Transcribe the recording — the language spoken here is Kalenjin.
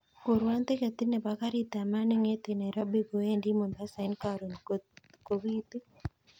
Kurwon tiketit nebo karit ab maat nengeten nairobi kowendi mombasa en koron kot kobitu